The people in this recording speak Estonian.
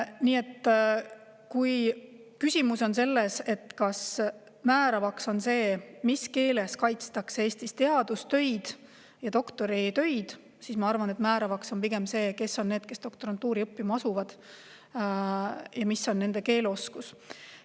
Nii et kui küsimus on, kas määravaks on see, mis keeles kaitstakse Eestis teadustöid, doktoritöid, siis ma arvan, et määravaks on pigem see, kes on need, kes doktorantuuri õppima asuvad, ja mis on nende keeleoskus.